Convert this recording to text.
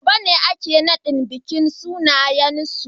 Gobe ne ake bikin nadin sunayen.